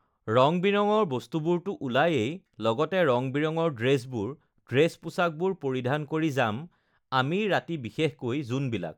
ৰং-বিৰঙৰ বস্তুবোৰতো ওলায়ে লগতে ৰং-বিৰঙৰ ড্ৰেছবোৰ ড্ৰেছ -পোছাকবোৰ পৰিধান কৰি যাম আমি ৰাতি বিশেষকৈ যোনবিলাক